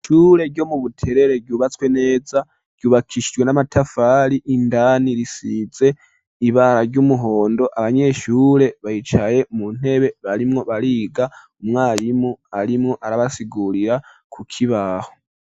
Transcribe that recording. Ishure ryo mu Buterere ryubatswe neza, ryubakishijwe n'amatafari. Indani risize ibara ry'umuhondo. Abanyeshure baricaye mu ntebe barimwo bariga. Umwarimu arimwo arabasigurira ku kibaho.